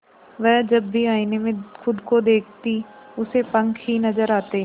वह जब भी आईने में खुद को देखती उसे पंख ही नजर आते